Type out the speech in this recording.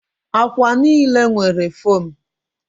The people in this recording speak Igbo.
Akwa niile nwere fomu